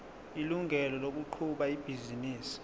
ilungelo lokuqhuba ibhizinisi